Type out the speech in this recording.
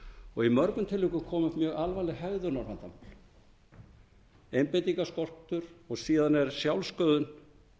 og í mörgum tilvikum koma upp mjög alvarleg hegðunarvandamál einbeitingarskortur og síðan er sjálfssköðun